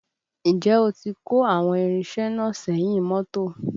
Ǹjẹ́ ó ti kó àwọn irinṣẹ́ náà sẹ́yìn mọ́tò?